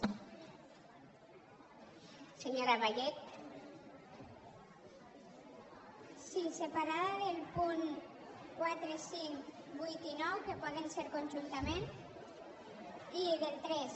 sí separada dels punts quatre cinc vuit i nou que poden ser con·juntament i del tres